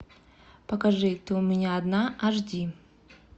покажи ты у меня одна аш ди